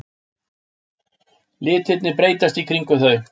Litirnir breytast í kringum þau.